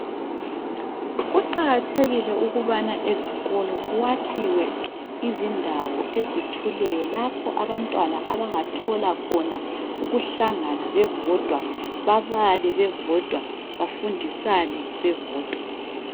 Kuqakathekile ukubana ezikolo kwakhiwe izindawo ezithuleyo lapho abantwana abangathola khona ukuhlangana bebodwa babale bebodwa bafundisane bebodwa.